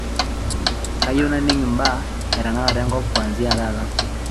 kayieu naning imbaa e tenakata enkop kuanzia taata